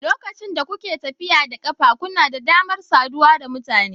Lokacin da kuke tafiya da ƙafa, kuna da damar saduwa da mutane.